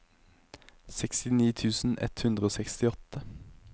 sekstini tusen ett hundre og sekstiåtte